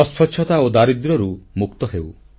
ଅସ୍ୱଚ୍ଛତା ଓ ଦାରିଦ୍ର୍ୟରୁ ମୁକ୍ତ ହେଉ